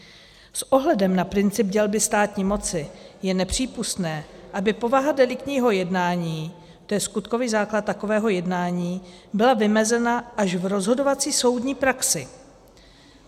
S ohledem na princip dělby státní moci je nepřípustné, aby povaha deliktního jednání, to je skutkový základ takového jednání, byla vymezena až v rozhodovací soudní praxi.